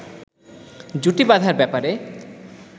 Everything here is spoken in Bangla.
জুটি বাঁধার ব্যাপারে